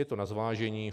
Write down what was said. Je to na zvážení.